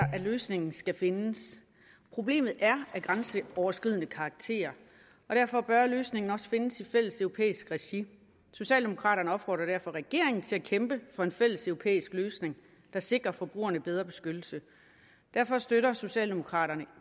løsningen skal findes problemet er af grænseoverskridende karakter og derfor bør løsningen også findes i fælleseuropæisk regi socialdemokraterne opfordrer derfor regeringen til at kæmpe for en fælleseuropæisk løsning der sikrer forbrugerne bedre beskyttelse derfor støtter socialdemokraterne